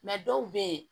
dɔw bɛ yen